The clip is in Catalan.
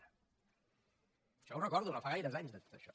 això ho recordo no fa gaires anys de tot això